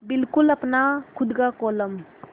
बिल्कुल अपना खु़द का कोलम